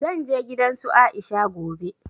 Zan je gidan su Aisha gobe